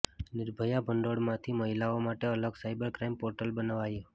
નિર્ભયા ભંડોળમાંથી મહિલાઓ માટે અલગ સાયબર ક્રાઇમ પોર્ટલ બનાવાયું